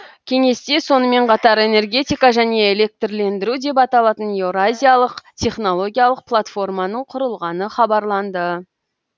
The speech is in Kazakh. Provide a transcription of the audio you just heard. кеңесте сонымен қатар энергетика және электрлендіру деп аталатын еуразиялық технологиялық платформаның құрылғаны хабарланды